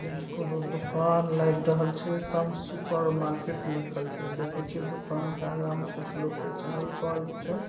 ई कौनो दोकान लाग रहल छे। सम सुपरमार्केट लिखल छै। देखे छीये दुकान के आगा मा कुछ लोग के चहल पहल भी छै।